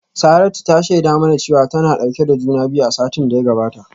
Saratu ta shaida mana cewa tana dauke da juna biyu a satin da ya gabata